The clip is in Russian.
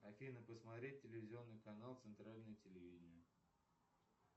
афина посмотреть телевизионный канал центральное телевидение